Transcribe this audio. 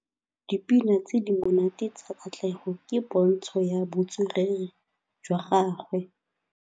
Dipina tse di monate tsa Katlego ke pôntshô ya botswerere jwa gagwe.